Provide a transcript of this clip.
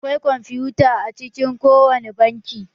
Akwai kwamfuta a cikin ko wani banki.